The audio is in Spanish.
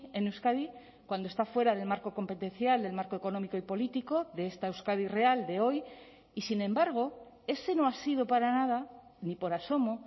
en euskadi cuando está fuera del marco competencial del marco económico y político de esta euskadi real de hoy y sin embargo ese no ha sido para nada ni por asomo